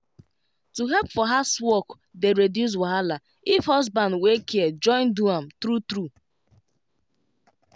to help for housework dey reduce wahala if husband wey care join do am true true